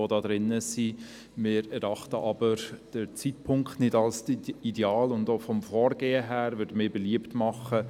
Allerdings erachten wir den Zeitpunkt als nicht ideal und auch vom Vorgehen her machen